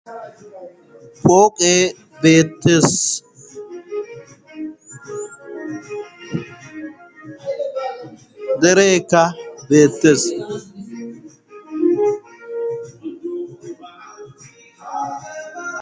pooqee beettees dereeka beettees